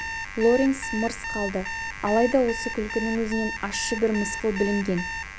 лоренс мырс қалды алайда осы күлкінің өзінен ащы бір мысқыл білінген